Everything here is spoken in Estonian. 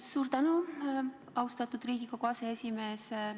Suur tänu, austatud Riigikogu aseesimees!